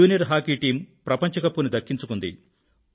junior hockey team ప్రపంచ cup ని దక్కించుకుంది